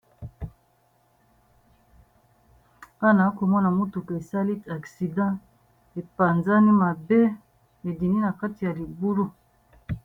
wana akomona motuku esali aksida epanzani mabe medini na kati ya libulu